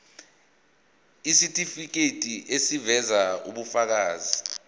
isitifiketi eziveza ubufakazi